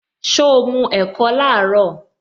So mu ẹ̀kọ laaro?